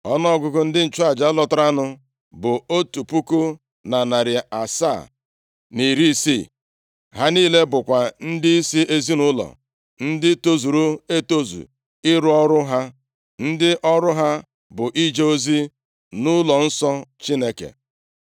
Ọnụọgụgụ ndị nchụaja lọtaranụ bụ otu puku na narị asaa, na iri isii (1,760). Ha niile bụkwa ndịisi ezinaụlọ, ndị tozuru etozu ịrụ ọrụ ha, ndị ọrụ ha bụ ije ozi nʼụlọnsọ Chineke.